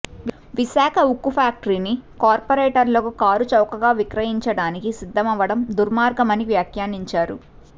విశాఖ ఉక్కు ఫ్యాక్టరీని కార్పొరేట్లకు కారుచౌకగా విక్రయించడానికి సిద్ధమవ్వడం దుర్మార్గమని వ్యాఖ్యానించారు